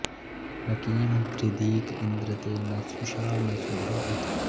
नकीं वृधीक इन्द्र ते न सुषा न सुदा उत